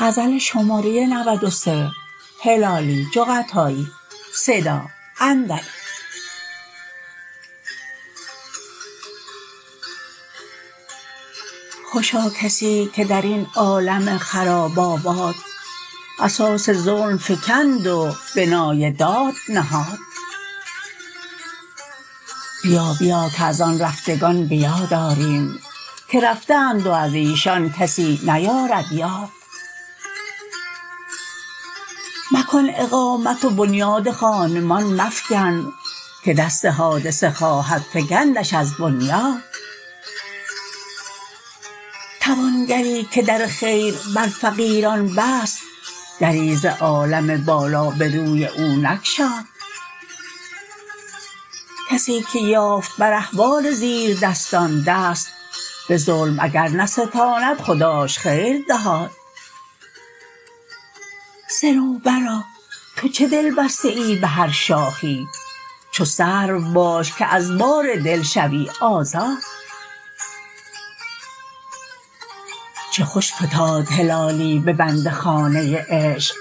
خوشا کسی که در این عالم خراب آباد اساس ظلم فگند و بنای داد نهاد بیا بیا که از آن رفتگان به یاد آریم که رفته اند و از ایشان کسی نیارد یاد مکن اقامت و بنیاد خانمان مفگن که دست حادثه خواهد فگندش از بنیاد توانگری که در خیر بر فقیران بست دری ز عالم بالا به روی او نگشاد کسی که یافت بر احوال زیردستان دست به ظلم اگر نستاند خداش خیر دهاد صنوبرا تو چه دل بسته ای به هر شاخی چو سرو باش که از بار دل شوی آزاد چه خوش فتاد هلالی به بنده خانه ی عشق